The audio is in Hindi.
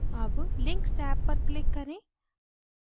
tab links tab पर click करें